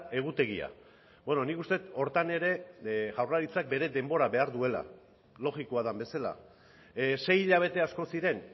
egutegia nik uste dut horretan ere jaurlaritzak bere denbora behar duela logikoa den bezala sei hilabete asko ziren